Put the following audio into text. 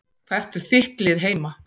Hvert er þitt lið heima?